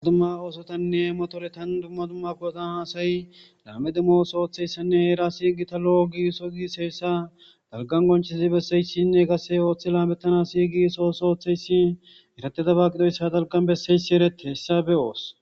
Duma ossatane motoretan duma duma pototan asay lame osso hera siqota lo'o gigiso dalgan qonccisidi besesi qase othizaysi othi lametanas gigiso osso othizaysi eretidoba gidoysan dalgan bessizaysi eretidaba gidoysa be'os